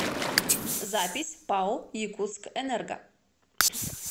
запись пао якутскэнерго